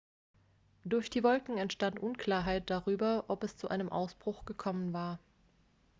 durch die wolken enstand unklarheit darüber ob es zu einem ausbruch gekommen war